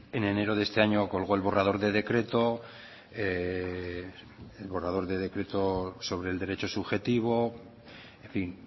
en enero de este año colgó el borrador de decreto el borrador de decreto sobre el derecho subjetivo en fin